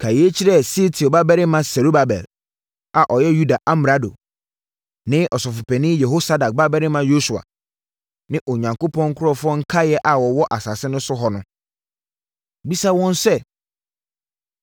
“Ka yei kyerɛ Sealtiel babarima Serubabel a ɔyɛ Yuda amrado ne Ɔsɔfopanin Yehosadak babarima Yosua ne Onyankopɔn nkurɔfoɔ nkaeɛ a wɔwɔ asase no so hɔ no. Bisa wɔn sɛ,